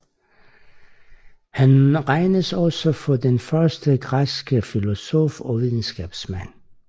Han regnes også for den første græske filosof og videnskabsmand